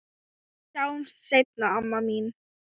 Við sjáumst seinna, amma mín.